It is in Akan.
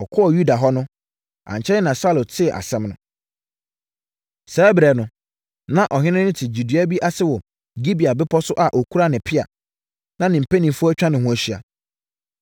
Ɔkɔɔ Yuda hɔ no, ankyɛre na Saulo tee asɛm no. Saa ɛberɛ no, na ɔhene no te gyedua bi ase wɔ Gibea bepɔ so a ɔkura ne pea na ne mpanimfoɔ atwa ne ho ahyia.